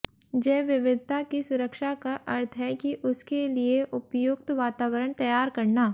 जैव विविधता की सुरक्षा का अर्थ है कि उसके लिए उपयुक्त वातावरण तैयार करना